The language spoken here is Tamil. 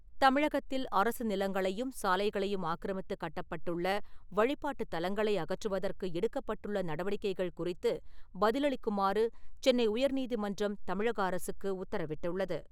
தமிழகத்தில் அரசு நிலங்களையும், சாலைகளையும் ஆக்கிரமித்து கட்டப்பட்டுள்ள வழிபாட்டுத் தலங்களை அகற்றுவதற்கு எடுக்கப்பட்டுள்ள நடவடிக்கைகள் குறித்து பதிலளிக்குமாறு சென்னை உயர் நீதிமன்றம் தமிழக அரசுக்கு உத்தரவிட்டுள்ளது.